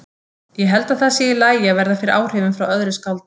Ég held að það sé allt í lagi að verða fyrir áhrifum frá öðru skáldi.